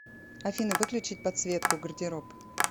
афина выключить подсветку гардероб